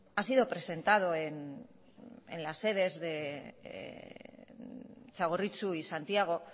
ha sido presentado en las sedes de txagorritxu y santiago